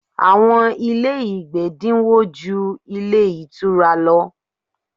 Àwọn ilé ìgbé dínwó ju ilé ìtura lọ.